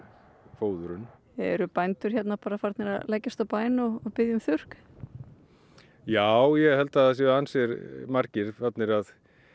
fóðrun eru bændur hérna farnir að leggjast á bæn og biðja um þurrk já ég held að það séu ansi margir farnir að